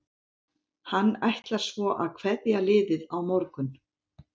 Hann ætlar svo að kveðja liðið á morgun.